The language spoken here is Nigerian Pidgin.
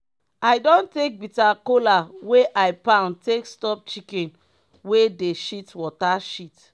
i don take bitter kola wey i pound take stop chicken wey dey shit water shit.